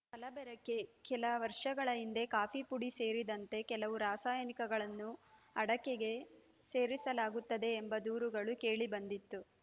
ಕಲಬೆರಕೆ ಕೆಲ ವರ್ಷಗಳ ಹಿಂದೆ ಕಾಫಿ ಪುಡಿ ಸೇರಿದಂತೆ ಕೆಲವು ರಾಸಾಯನಿಕಗಳನ್ನು ಅಡಕೆಗೆ ಸೇರಿಸಲಾಗುತ್ತದೆ ಎಂಬ ದೂರುಗಳು ಕೇಳಿ ಬಂದಿತ್ತು